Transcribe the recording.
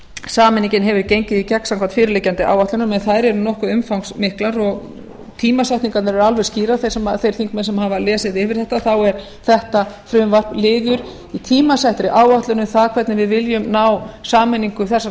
sameiningin hefur gengið í gegn samkvæmt fyrirliggjandi áætlunum en þær eru nokkuð umfangsmiklar og tímasetningarnar eru alveg skýrar þeir þingmenn sem hafa lesið yfir þetta þá er þetta frumvarp liður í tímasettri áætlun um það hvernig við viljum ná sameiningu þessara